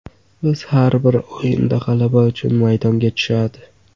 Biz har bir o‘yinda g‘alaba uchun maydonga tushadi.